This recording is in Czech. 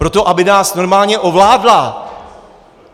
Proto, aby nás normálně ovládla!